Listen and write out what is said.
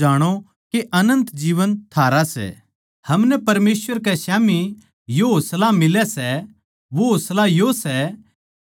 हमनै परमेसवर कै स्याम्ही यो होसला मिलै सै वो होसला यो सै के जो हम उसकी इच्छा के मुताबिक माँग्गा सां तो वो म्हारी सुणै सै